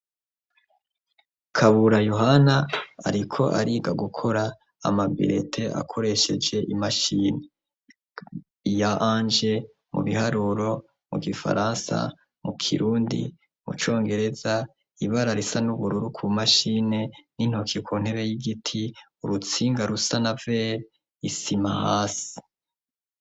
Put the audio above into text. kabura yohana ariko ariga gukora amabilete akoresheje imashini iya ange mu biharuro mu gifaransa mu kirundi mu congereza ibara risa n'ubururu ku mashini n'intoki ku ntebe y'igiti urutsinga rusana vel isimahasi